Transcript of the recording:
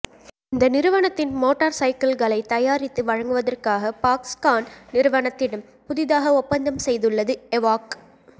இந்த நிறுவனத்தின் மோட்டார் சைக்கிள்களை தயாரித்து வழங்குவதற்காக பாக்ஸ்கான் நிறுவனத்திடம் புதிதாக ஒப்பந்தம் செய்துள்ளது எவோக்